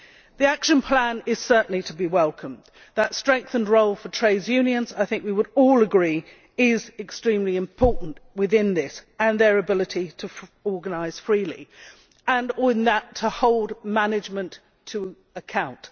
The action plan is certainly to be welcomed. That strengthened role for trade unions, I think we would all agree, is extremely important within this, as is their ability to organise freely and to hold management to account.